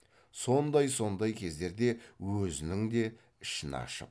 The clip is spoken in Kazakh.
сондай сондай кездерде өзінің де ішін ашып